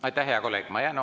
Aitäh, hea kolleeg!